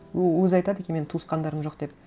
ол өзі айтады екен менің туысқандарым жоқ деп